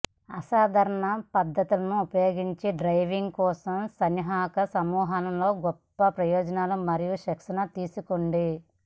అసాధారణ పద్ధతులను ఉపయోగించి డ్రాయింగ్ కోసం సన్నాహక సమూహం లో గొప్ప ప్రయోజనాలు మరియు శిక్షణ తీసుకురండి